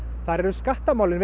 þar eru skattamálin